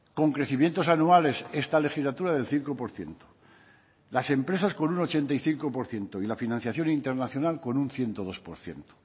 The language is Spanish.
con crecimientos anuales esta legislatura del cinco por ciento las empresas con un ochenta y cinco por ciento y la financiación internacional con un ciento dos por ciento